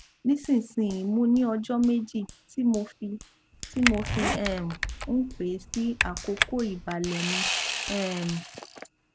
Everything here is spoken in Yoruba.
nísinsìnyí mo ní ọjọ méjì tí mo fi tí mo fi um ń pẹ sí àkókò ìbàlẹ mi um